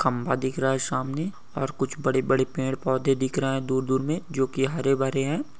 खंबा दिख रहा है सामने और कुछ बड़े-बड़े पेड़ पौधे दिख रहा है दूर-दूर मे जो की हरे-भरे है।